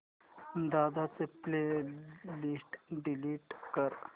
दादा ची playlist delete कर